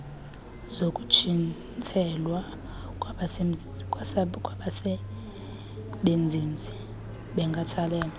zokutshintselwa kwabasebenzizi benkathalelo